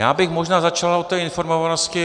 Já bych možná začal o té informovanosti.